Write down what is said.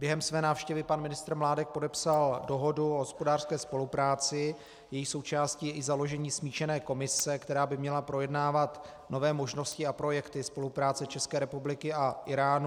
Během své návštěvy pan ministr Mládek podepsal dohodu o hospodářské spolupráci, jejíž součástí je i založení smíšené komise, která by měla projednávat nové možnosti a projekty spolupráce České republiky a Íránu.